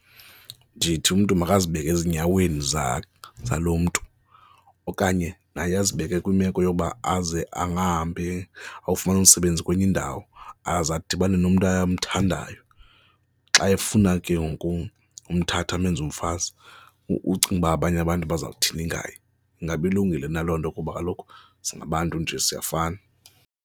Ndithi umntu makazibeke ezinyaweni zaloo mntu okanye naye azibeke kwimeko yokuba aze angahamba ayofumana umsebenzi kwenye indawo aze adibane nomntu amthandayo, xa efuna ke ngoku umthatha amenze umfazi, ucinga uba abanye abantu bazawuthini ngaye? Ingaba ilungile na loo nto kuba kaloku singabantu nje siyafana.